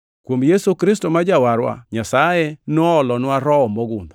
Kuom Yesu Kristo ma Jawarwa Nyasaye noolonwa Roho mogundho,